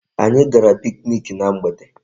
Anyị gara picnic na mgbede.